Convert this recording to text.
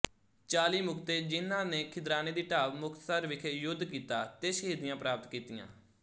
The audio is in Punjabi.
ਚਾਲੀ ਮੁਕਤੇਜਿਹਨਾਂ ਨੇ ਖਿਦਰਾਣੇ ਦੀ ਢਾਬ ਮੁਕਤਸਰ ਵਿਖੇ ਯੁਦ ਕੀਤਾ ਤੇ ਸ਼ਹੀਦੀਆਂ ਪ੍ਰਾਪਤ ਕੀਤੀਆਂ